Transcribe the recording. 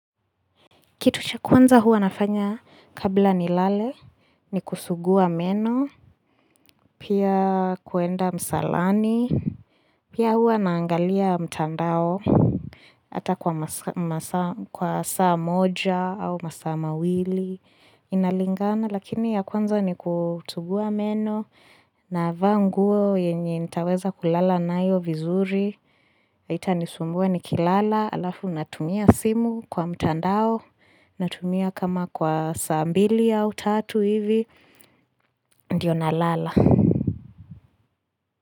Kitu cha kwanza hua nafanya kabla ni lale, ni kusugua meno, pia kuenda msalani, pia hua naangalia mtandao, ata kwa saa moja au masaa mawili, inalingana. Lakini ya kwanza ni kutugua meno navaa nguo yenye nitaweza kulala naayo vizuri hitanisumbua nikilala alafu natumia simu kwa mtandao Natumia kama kwa saa mbili au tatu hivi ndiyo nalala.